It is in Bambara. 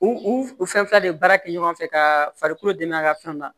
U u u fɛn fila de baara kɛ ɲɔgɔn fɛ ka farikolo dɛmɛ a ka fɛnw na